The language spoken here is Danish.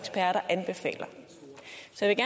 jeg ikke